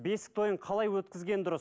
бесік тойын қалай өткізген дұрыс